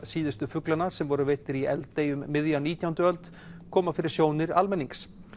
síðustu fuglanna sem voru veiddir í Eldey um miðja nítjándu öld koma fyrir sjónir almennings